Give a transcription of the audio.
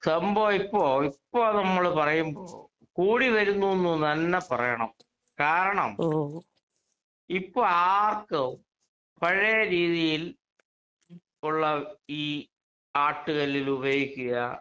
സംഭവം ഇപ്പോൾ ഇപ്പൊ നമ്മള് പറയുമ്പോ കൂടി വരുന്നൂന്ന് തന്നെ പറയണം. കാരണം ഇപ്പൊ ആർക്കും പഴയ രീതിയിൽ ഉള്ള ഈ ആട്ടുകല്ലിൽ ഉപയോഗിക്കുക